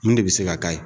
Mun de bɛ se ka k'a ye